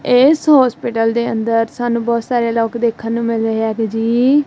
ਇਸ ਹੋਸਪਿਟਲ ਦੇ ਅੰਦਰ ਸਾਨੂੰ ਬਹੁਤ ਸਾਰੇ ਲੋਕ ਦੇਖਣ ਨੂੰ ਮਿਲ ਰਹੇ ਹੈਗੇ ਜੀ।